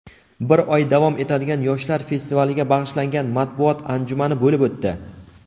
bir oy davom etadigan yoshlar festivaliga bag‘ishlangan matbuot anjumani bo‘lib o‘tdi.